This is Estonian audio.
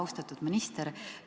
Austatud minister!